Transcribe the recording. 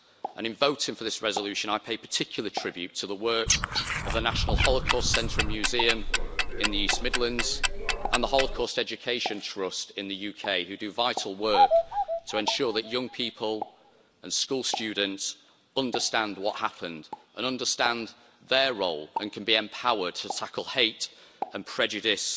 And in voting for this resolution, I pay particular tribute to the work of the National Holocaust Centre and Museum in the East Midlands, and the Holocaust Education Trust in the UK, who do vital work to ensure that young people and school students understand what happened and understand their role, and can be empowered to tackle hate and prejudice